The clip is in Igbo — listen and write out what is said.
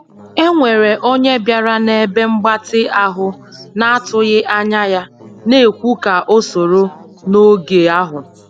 E nwere onye bịara na ebe mgbatị ahụ na atụghị anya ya, na ekwu ka o soro n'oge ahu